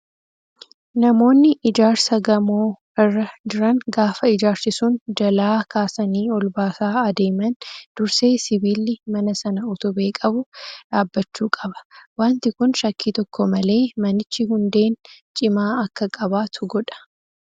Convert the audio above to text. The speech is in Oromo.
Namoonni ijaarsa gamoo irra jiran gaafa ijaarsi sun jalaa kaasanii ol baasaa adeeman dursee sibiilli mana sana utubee qabu dhaabbachuu qaba. Wanti Kun shakkii tokko malee manichi hundeen cimaa akka qabaatu godha.